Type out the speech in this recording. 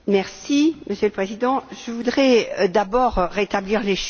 Monsieur le Président, je voudrais d'abord rétablir les choses.